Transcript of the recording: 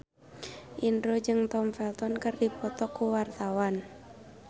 Indro jeung Tom Felton keur dipoto ku wartawan